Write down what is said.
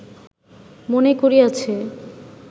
মনে করিয়াছে